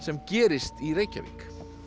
gerist í Reykjavík